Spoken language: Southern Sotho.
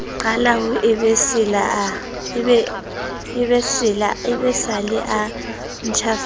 qale ho ebesela a ntjhafale